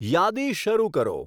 યાદી શરૂ કરો